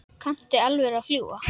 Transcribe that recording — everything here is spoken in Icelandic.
Kanntu í alvöru að fljúga?